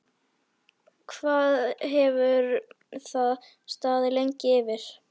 Hvað hefur það staðið lengi yfir?